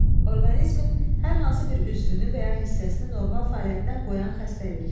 Orqanizmin hər hansı bir üzvünü və ya hissəsini normal fəaliyyətdən qoyan xəstəlik.